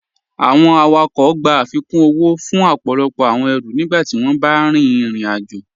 Awọn awakọń gbà afíkún owó fún ọpọlọpọ awọn èrú nígbàtí wọn bá rín ìrìn-àjọ.